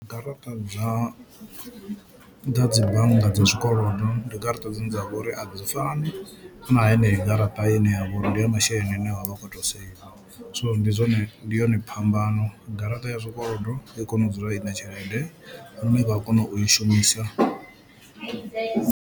Garaṱa dza dza dzi bannga dza zwikolodo ndi garaṱa dzine dzavha uri a dzi fani na heneyo garaṱa ine yavho uri ndi ya masheleni ane wavha ukho to saver so ndi zwone ndi yone phambano, garaṱa ya zwikolodo i kono u dzula ine tshelede lune vha a kono u i shumisa.